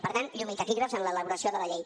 per tant llum i taquígrafs en l’elaboració de la llei